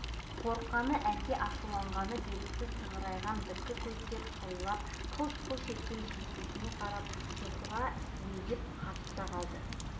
қорыққаны әлде ашуланғаны белгісіз сығырайған біткі көздер қылиланып қалш-қалш еткен жездесіне қарап зухра сілейіп қатты да қалды